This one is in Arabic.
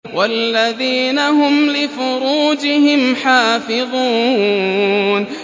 وَالَّذِينَ هُمْ لِفُرُوجِهِمْ حَافِظُونَ